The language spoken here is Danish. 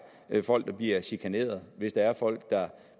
folk der bliver chikaneret hvis der er folk der